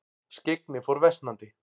Skyggni fór versnandi.